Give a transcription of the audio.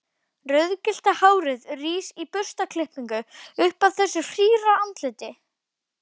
Rauðgyllta hárið rís í burstaklippingu upp af þessu hýra andliti.